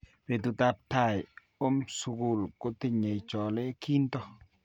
Betutap tai om sukul kutinyei chole kinto.